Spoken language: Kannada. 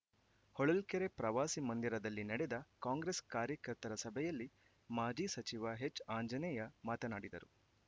ಹೊಳಲ್ಕೆರೆ ಪ್ರವಾಸಿ ಮಂದಿರದಲ್ಲಿ ನಡೆದ ಕಾಂಗ್ರೆಸ್‌ ಕಾರ್ಯಕರ್ತರ ಸಭೆಯಲ್ಲಿ ಮಾಜಿ ಸಚಿವ ಎಚ್‌ಆಂಜನೇಯ ಮಾತನಾಡಿದರು